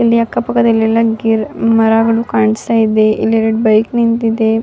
ಇಲ್ಲಿ ಅಕ್ಕ ಪಕ್ಕದಲ್ಲಿ ಎಲ್ಲ ಗಿರ್ ಮರಗಳು ಕಾಣಿಸ್ತಾ ಇದೆ. ಇಲ್ಲಿ ಎರಡು ಬೈಕ್ ನಿಂತಿದೆ.